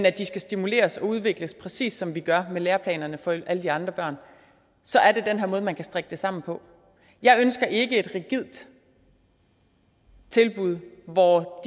at de skal stimuleres og udvikles præcis som vi gør med læreplanerne for alle de andre børn så er det den her måde man kan strikke det sammen på jeg ønsker ikke et rigidt tilbud hvor